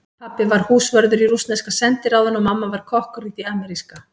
Pabbi var húsvörður í rússneska sendiráðinu og mamma var kokkur í því ameríska.